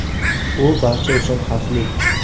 U barcha uchun xavfli!